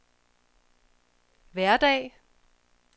hverdag